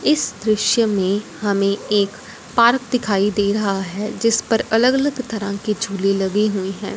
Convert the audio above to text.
इस दृश्य में हमें एक पार्क दिखाई दे रहा है जिस पर अलग अलग तरह के झूले लगे हुए हैं।